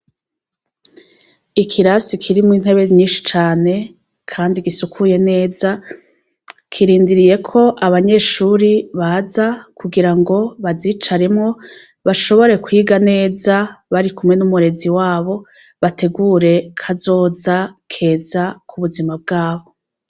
Ikirasi kirimwo intebe nyinshi cane kandi gisukuye neza, kirindiriyeko abanyeshure baza kugira ngo bazicaremwo, bashobore kwiga neza barikumwe n'umurezi wabo, bategura kazoza keza k'ubuzma bwabo.